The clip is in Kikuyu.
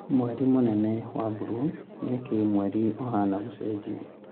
Mweri mũnene wa buruu:Nĩkĩĩ mweri ĩbana gũcejia